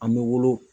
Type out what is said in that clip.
An bɛ wolo